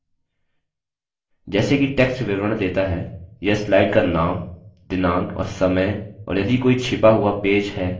जैसे कि text विवरण देता है यह slide का name दिनांक और समय और यदि कोई छिपा हुआ पेज है उसे print करेगा